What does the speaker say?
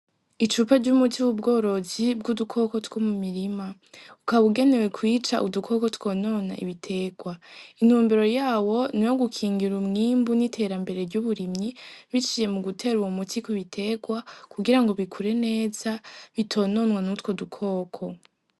Icupa c'umuti w'ubworozi bw'udukoko two mu mirima, ukaba ugenewe kwica udukoko twonona ibitegwa, intumbero yawo n'uwogukingira umwimbu n'iterambere ry'uburimyi biciye mu gutera uwo muti ku bitegwa kugira ngo bikure neza bitononwa n'utwo dukoko.